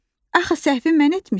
Axı səhvi mən etmişəm.